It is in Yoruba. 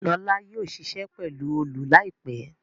Lọla yóò ṣiṣẹ pelu Òòlù láìpé.